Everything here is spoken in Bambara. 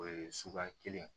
O ye suguya kelen ye